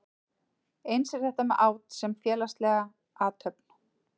Eins er þetta með át sem félagslega athöfn.